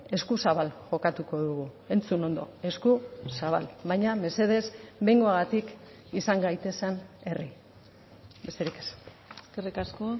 eskuzabal jokatuko dugu entzun ondo eskuzabal baina mesedez behingoagatik izan gaitezen herri besterik ez eskerrik asko